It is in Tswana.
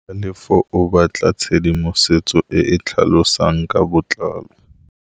Tlhalefô o batla tshedimosetsô e e tlhalosang ka botlalô.